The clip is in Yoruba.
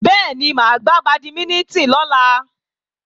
Bẹ́ẹ̀ni, máa gbá bàdímínítìn lọ́la